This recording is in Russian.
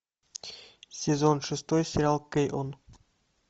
сезон шестой сериал кэйон